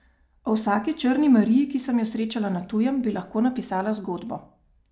O vsaki črni Mariji, ki sem jo srečala na tujem, bi lahko napisala zgodbo.